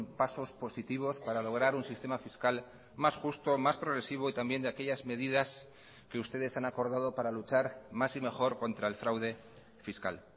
pasos positivos para lograr un sistema fiscal más justo más progresivo y también de aquellas medidas que ustedes han acordado para luchar más y mejor contra el fraude fiscal